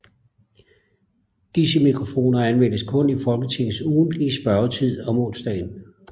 Disse mikrofoner anvendes kun i Folketingets ugentlige spørgetid om onsdagen